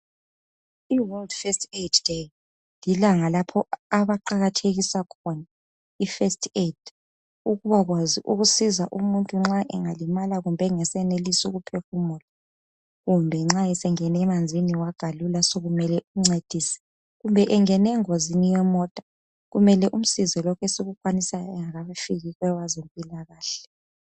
IWorld First Aid Day lilanga lapho abaqakethisa khona iFirst Aid ukubakwazi ukusiza umuntu nxa engalimala kumbe engasayenelisi ukuphefumula kumbe nxa esengene emanzini wagalula sokumele umcedise kumbe engene engozini yemota kumele simsize lokhu esikukwanisa kungakafiki abezempilakahle.